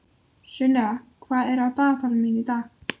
Sunnefa, hvað er á dagatalinu mínu í dag?